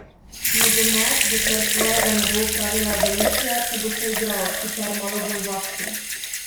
Nogomet, dokler svojega ne bo opravila evolucija, se bo še igral, sicer malo bolj vaški!